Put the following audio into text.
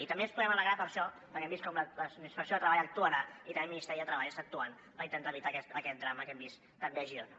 i també ens podem alegrar per això perquè hem vist com la inspecció de treball actuarà i també el ministeri de treball està actuant per intentar evitar aquest drama que hem vist també a girona